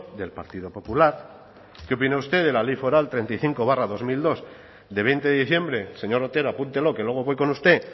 del partido popular qué opina usted de la ley foral treinta y cinco barra dos mil dos de veinte de diciembre señor otero apúntelo que luego voy con usted